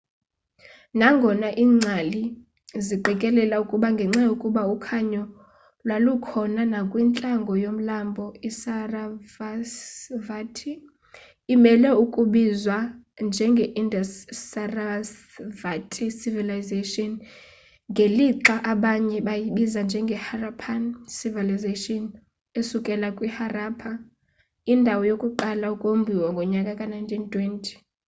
nangona ingcali ziqikelela ukuba ngenxa yokuba ukhanyo lwalukhona nakwintlango yomlambo i sarasvati imele ukubizwa njenge indus-sarasvati civilization ngelixa abanye beyibiza njengeharappan civilization esukela kwiharappa indawo yokuqala ukombiwa ngomnyaka ka-1920